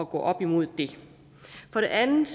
gå op imod for det andet